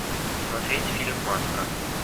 смотреть фильм маска